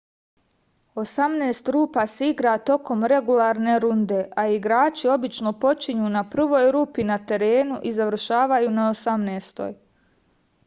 osamnaest rupa se igra tokom regularne runde a igrači obično počinju na prvoj rupi na terenu i završavaju na osamnaestoj